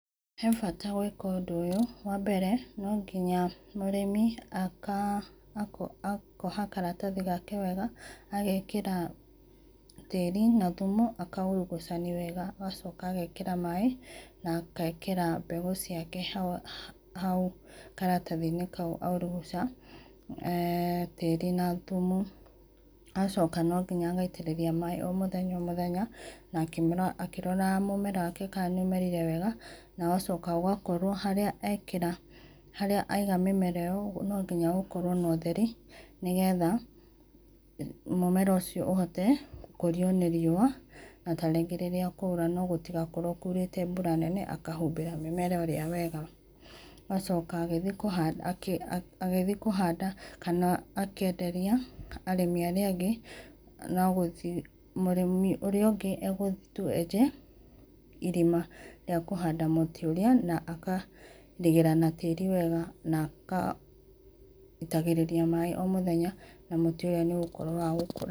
He bata gwĩka ũndũ ũyũ wa mbere no gĩnya mũrĩmi akoha karatathĩ gake wega agekera tarĩ na thũmũ akaũrũgũcani wega agacoka agekĩra maĩ na agekera mbegũ ciake haũ, karatathĩ inĩ kaũ aũruguca tarĩ na thũmũ agacoka no ngĩnya agaitĩrĩrĩa maĩ o mũthenya o mũthenya na akĩrora mũmera wake kana nĩ ũmerire wega na ũgacoka ũgakorwo harĩa ekera harĩa aĩga mĩmera ĩyo no ngĩnya gũkorwo na ũtherĩ nĩ getha, mũmera ũcio ũhote gũkũrĩo nĩ riũa na ta rĩngĩ rĩrĩa kwaũra no gũtĩgakorwo kourete mbũra nene akahũmbĩra mĩmera ĩrĩa wega. Ũgacoka agĩthĩe kũhanda kana akĩenderĩa arĩmĩ arĩa angĩ no gũthĩe mũrĩmĩ ũrĩa ũngĩ agũthĩe tũ enje ĩrĩma rĩa kũhanda mũtĩ ũrĩa na akarĩgĩra na tarĩ wega na agaĩtagĩrĩra maĩ o mũthenya na mũtĩ ũrĩa nĩ ũgũkorwo wa gũkũra.